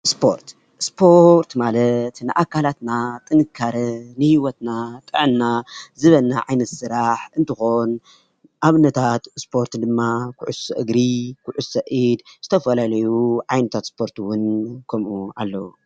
ስፖርት: ስፖርት ማለት ንኣካላትና ጥንካሬ ንህወትና ጥዕና ዝህበና ዓይነት ስራሕ እንትከውን ኣብነታት ስፖርት ድማ ኩዕሶ እግሪ፣ ኩዕሶ ኢድ ዝተፈላለዩ ዓይነት ስፖርት'ውን ከሙኡ ኣለዉ።